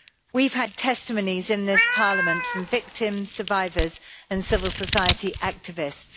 We have had testimonies in this Parliament from victims, survivors and civil society activists.